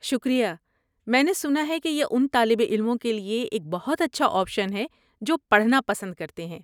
شکریہ، میں نے سنا ہےکہ یہ ان طالب علموں کے لیے ایک بہت اچھا آپشن ہے جو پڑھنا پسند کرتے ہیں۔